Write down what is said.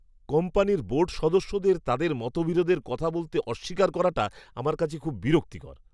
কোম্পানির বোর্ড সদস্যদের তাদের মতবিরোধের কথা বলতে অস্বীকার করাটা আমার কাছে খুব বিরক্তিকর!